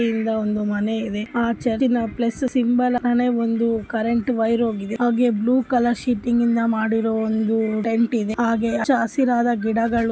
ಒಂದು ಮನೆ ಇದೆ ಆ ಚರ್ಚಿನ ಪ್ಲಸ್‌ ಸಿಂಬೊಲ ಒಂದು ಕರೆಂಟ ವೈರ ಹೊಗಿದೆ ಹಾಗೆ ಬ್ಲುವ್‌ ಕಲರ ಶೆಡ್ಡ ನಿಂದ ಮಾಡಿರೊ ಒಂದು ಟೆಂಟ ಇದೆ ಹಾಗೆ ಹಚ್ಚ ಹಸಿರಾದ ಗಿಡಗಳು .